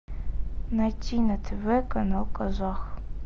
найти на тв канал казах